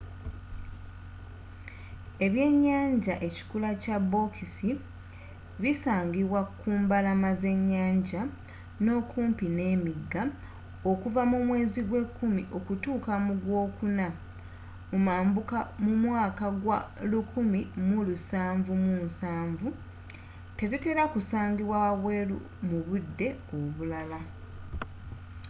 ebyenyanja ekikula kya bokisi bisangibwa kumbalama zenyanja n'okumpi n'emigga okuva mu mwezi gwe 10 okutuuka mu gwokuna mumambuka mu mwaka gwa 1770 tezitera kusangibwa wabweru mubudde obulala